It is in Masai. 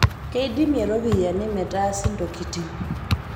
Keidimie ropiyiani metaasi ntokitin